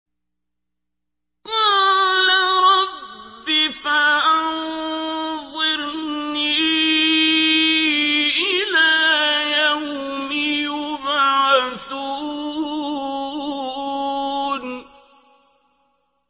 قَالَ رَبِّ فَأَنظِرْنِي إِلَىٰ يَوْمِ يُبْعَثُونَ